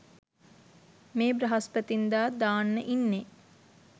මේ බ්‍රහස්පතින්දා දාන්න ඉන්නේ.